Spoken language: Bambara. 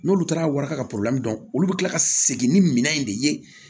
N'olu taara warikara dɔn olu bɛ kila ka segin ni minan in de ye